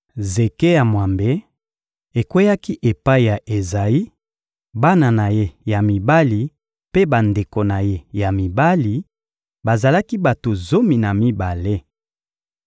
Zeke ya mwambe ekweyaki epai ya Ezayi, bana na ye ya mibali mpe bandeko na ye ya mibali: bazalaki bato zomi na mibale.